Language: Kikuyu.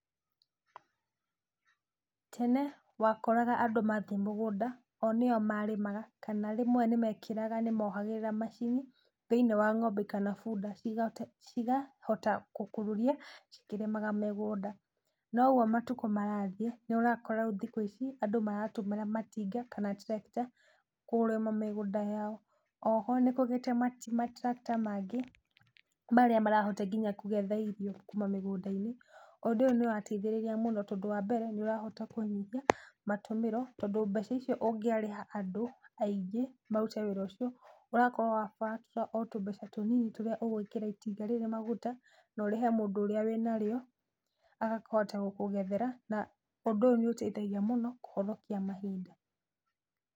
Tene wakoraga andũ mathiĩ mũgũnda o nĩo marĩmaga, kana rĩmwe nĩmekĩraga nĩmohagĩrĩra macini thĩiniĩ wa ngombe kana bũnda cikahota gũkururia cikĩrĩmaga mĩgũnda. No oũguo matukũ marathiĩ, nĩũrakora rĩu thikũ ici, andũ maratũmĩra matinga kana tractor kũrĩma mĩgũnda yao. Oho nĩkũgĩte ma tractor mangĩ, marĩa marahota kinya kũgetha irio kuma mĩgũnda-inĩ. Ũndũ ũyũ nĩũrateithĩrĩria mũno, tondũ wambere nĩũrahota kũnyihia matũmĩro, tondũ mbeca icio ũngĩarĩha andũ aingĩ marute wĩra ũcio, ũrakorwo ũraruta o tũmbeca tũnini tũrĩa ũgwĩkĩra itinga rĩrĩ maguta, na ũrĩhe mũndũ ũrĩa wĩnarĩo, akahota gũkũgethera na ũndũ ũyũ nĩũteithagia mũno kũhonokia mahinda.